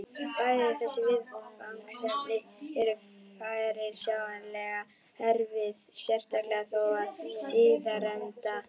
Bæði þessi viðfangsefni eru fyrirsjáanlega erfið, sérstaklega þó það síðarnefnda.